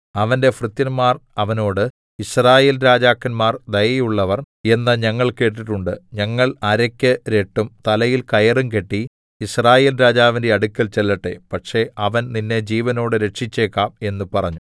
അവന്റെ ഭൃത്യന്മാർ അവനോട് യിസ്രായേൽരാജാക്കന്മാർ ദയയുള്ളവർ എന്ന് ഞങ്ങൾ കേട്ടിട്ടുണ്ട് ഞങ്ങൾ അരയ്ക്ക് രട്ടും തലയിൽ കയറും കെട്ടി യിസ്രായേൽ രാജാവിന്റെ അടുക്കൽ ചെല്ലട്ടെ പക്ഷേ അവൻ നിന്നെ ജീവനോടെ രക്ഷിച്ചേക്കാം എന്ന് പറഞ്ഞു